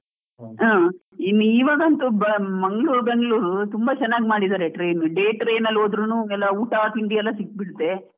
ಅ ಇನ್ ಇವಾಗಂತೂ ಮಂಗಳೂರು ಬೆಂಗಳೂರು ತುಂಬಾ ಚೆನ್ನಾಗಿ ಮಾಡಿದ್ದಾರೆ train, day train ಅಲ್ಲೂ ಹೋದ್ರೂನು ಎಲ್ಲಾ ಊಟ, ತಿಂಡಿ ಎಲ್ಲ ಸಿಕ್ಬಿಡುತ್ತೆ.